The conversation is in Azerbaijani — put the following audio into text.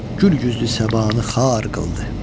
Gül yüzlü səbanı xar qıldı.